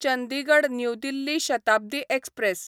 Chandigarh New Delhi Shatabdi express